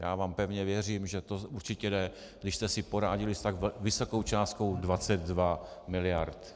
Já vám pevně věřím, že to určitě jde, když jste si poradili s tak vysokou částkou 22 miliard.